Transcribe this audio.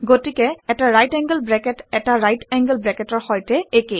গতিকে এটা right angle bracket ১টা ৰাইট এংগোল ব্ৰেকেটৰ সৈতে একে